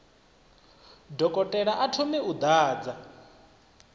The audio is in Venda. dokotela a thome u ḓadza